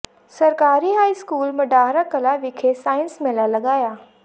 ਸਰਕਾਰੀ high school Madahar Kalan ਵਿਖੇ science ਮੇਲਾ ਲਗਾਇਆ